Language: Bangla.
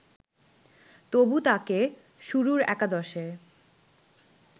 তবু তাকে শুরুর একাদশে